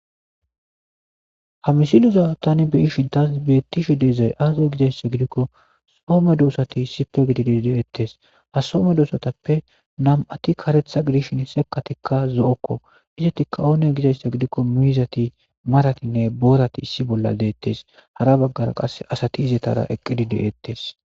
ha misileza tani beyishin tas beettishe deezay aaza gizayssa gidikko soome doossati isipe gididi deettes ha soome doosatappe nam7ati karetha gidishin sekatikka zo7okko izatikka oone gizayssa gidikko miizati maratinne boorati issi bolla deettes hara baggara qas asati izetara eqqidi deettes